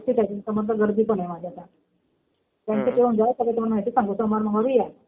एकटीच आहे मी. समोरनं गर्दी पण आहे माझ्या आता. बँकेत येऊन जा. सगळी तुम्हाला माहिती सांगू. सोमवारी मंगळवारी या.